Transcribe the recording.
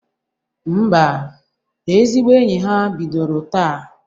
Ḿbà, ezigbo enyi ha bidoro taa.